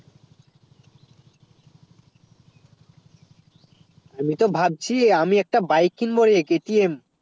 আমি তো ভাবছি আমি একটা bike কিনবো KTM